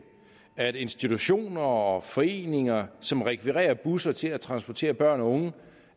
at institutioner og foreninger som rekvirerer busser til at transportere børn og unge